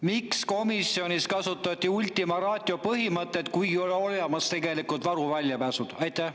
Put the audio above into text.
Miks komisjonis kasutati ultima ratio põhimõtet, kuigi tegelikult on olemas varuväljapääsud?